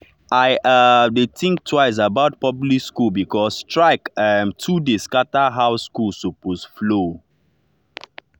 e um dey think twice about public school because strike um too dey scatter how school supposed flow.